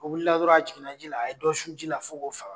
O wili la dɔrɔn a jigin ji a ye dɔ su ji la fo'o faga.